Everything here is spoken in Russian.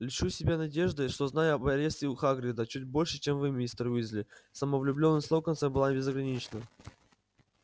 льщу себя надеждой что знаю об аресте у хагрида чуть больше чем вы мистер уизли самовлюблённость локонса была безгранична